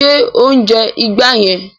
Ṣé o ń jẹ ìgbá yẹn?